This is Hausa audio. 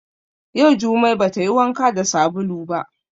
Yau jumai ba tayi wanka da sabulu ba